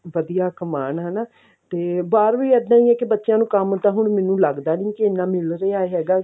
ਵਧੀਆ ਕਮਾਉਣ ਹਨਾ ਤੇ ਬਾਹਰ ਵੀ ਇੱਦਾਂ ਹੀ ਹੈ ਕਿ ਬੱਚਿਆਂ ਨੂੰ ਕੰਮ ਤਾਂ ਹੁਣ ਮੈਨੂੰ ਲੱਗਦਾ ਨੀ ਕਿ ਇੰਨਾ ਮਿਲ ਰਿਹਾ ਹੈਗਾ